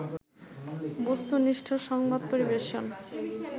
বস্তুনিষ্ঠ সংবাদ পরিবেশন